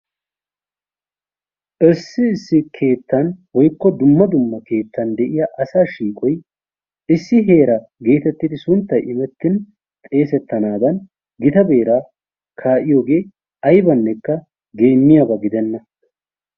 Issi issi keettan woykko dumma dumma keettan de'iyaa asaa shiiqoy issi heera getettidi sunttay imettin xesettanadan gita beeraa ka'iyoogee aybanekka geemmiyaaba gidenna.